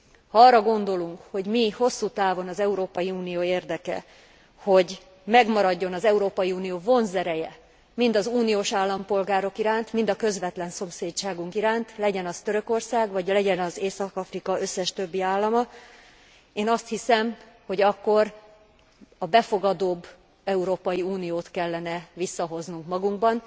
Ha arra gondolunk, hogy mi hosszú távon az Európai Unió érdeke, hogy megmaradjon az Európai Unió vonzereje, mind az uniós állampolgárok iránt, mind a közvetlen szomszédságunk iránt, legyen az Törökország, vagy legyen az Észak Afrika összes többi állama, én azt hiszem, hogy akkor a befogadóbb Európai Uniót kellene visszahoznunk magunkban.